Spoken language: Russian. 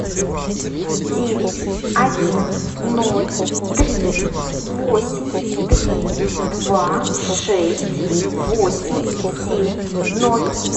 девять один ноль три восемь три два шесть восемь семь ноль